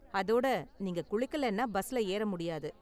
அதோட நீங்க குளிக்கலைனா பஸ்ல ஏற முடியாது.